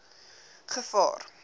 gevaar